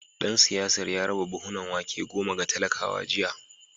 Dan siyasar ya raba buhunan wake goma ga talakawa jiya